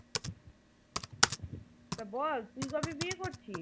তো বল তুই কবে বিয়ে করছিস?